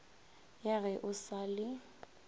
ya ge o sa le